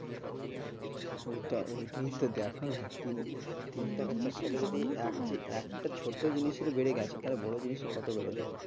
ওটা, ওটাই তো দেখ না তিন তিন টাকার একটা ছোট জিনিসের বেড়ে গেছে তাহলে বড়ো জিনিস কত বাড়া হবে